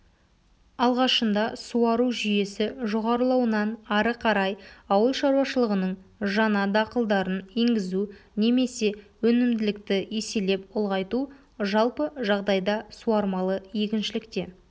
алғашында суару жүйесі жоғарлауынан ары қарай ауылшаруашылығының жаңа дақылдарын енгізу немесе өнімділікті еселеп ұлғайту жалпы жағдайда суармалы егіншілікте